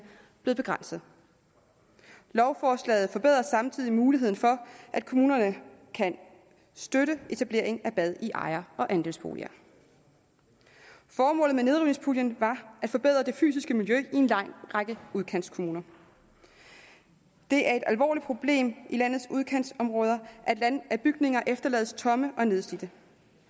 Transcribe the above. blevet begrænset lovforslaget forbedrer samtidig muligheden for at kommunerne kan støtte etablering af bad i ejer og andelsboliger formålet med nedrivningspuljen var at forbedre det fysiske miljø i en lang række udkantskommuner det er et alvorligt problem i landets udkantsområder at bygninger efterlades tomme og nedslidte